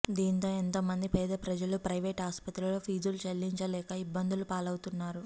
దీంతో ఎంతో మంది పేద ప్రజలు ప్రయివేటు ఆస్పత్రుల్లో ఫీజులు చెల్లించలేక ఇబ్బందులపాలవుతున్నారు